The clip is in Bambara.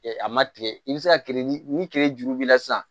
a ma tigɛ i bɛ se ka ni kerejuru b'i la sisan